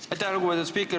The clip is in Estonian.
Aitäh, lugupeetud spiiker!